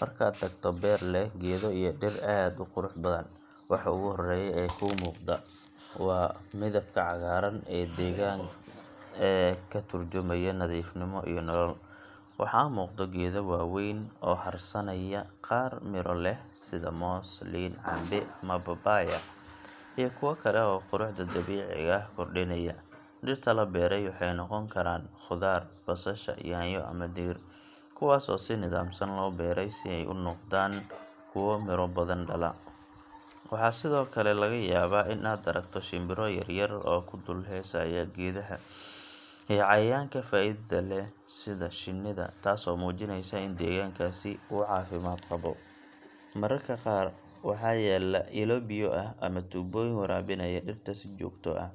Markaad tagto beer leh geedo iyo dhir aad u qurux badan waxa ugu horreya ee ku muuqda waa midabka cagaaran ee deeganka ee ka turjumaya nadiifnimo iyo nolol. Waxaa muuqdo geedo waaweyn oo hadhsanaya qaar miro leh sida moos ,liin, cambe ama babaya iyo kuwa kale oo quruxda dabiiciga ah kordhinaya. Dhirta la beeray waxeey noqon karaan khudaar, basasha, yaanyo ama digir, kuwaas oo si nidaamsan loo beeray si ay u noqdaan kuwa miro badan dhala. Waxaa sidoo kale laga yabaa in aad aragto shimbiro yaryar oo ku dul hesaaya gedaha iyo cayayanka faidada leh sida shinnida ,taaso mujineysa in degankaaasi uu cafimaad qabo .Mararka qaar waxaa yaala ilo biya aha ama tubooyin warabinaya dhirta si joogto ah .